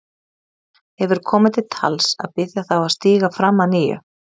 Hefur komið til tals að biðja þá að stíga fram að nýju?